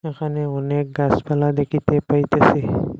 এখানে অনেক গাসপালা দেখিতে পাইতেসি।